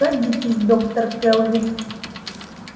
садитесь доктор кэлвин